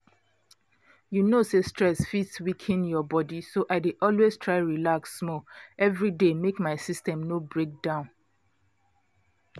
you know say stress fit weaken your body so i dey always try relax small every day make my system no break down